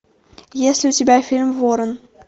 есть ли у тебя фильм ворон